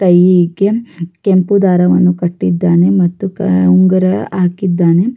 ಕೈಗೆ ಕೆಂಪು ದರವನ್ನು ಕಟ್ಟಿದ್ದಾನೆ ಮತ್ತು ಉಂಗುರ ಹಾಕಿದ್ದಾನೆ.